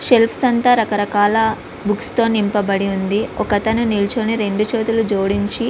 Self అంతా రకరకాల books తో నింపబడి ఉంది. ఒకతను నిల్చుని రెండు చేతులు జోడించి --